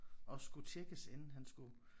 Og skulle tjekkes inden han skulle